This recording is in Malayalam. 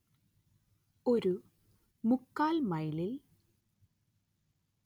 ഒരു മുക്കാൽ മൈലിൽ